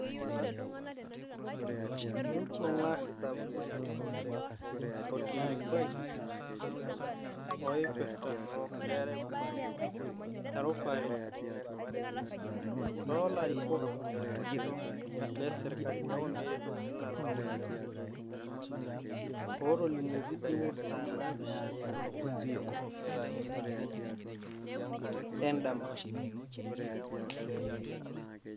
Imbung'a orkilikuai oipirrta erupare toolarikok lesirkali ,otolimuoki duoo saa naapishana endama ?